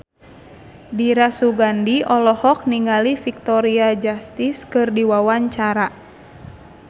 Dira Sugandi olohok ningali Victoria Justice keur diwawancara